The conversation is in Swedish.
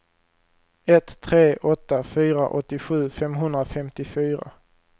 ett tre åtta fyra åttiosju femhundrafemtiofyra